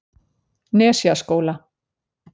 Nesjaskóla